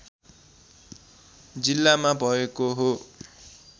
जिल्लामा भएको हो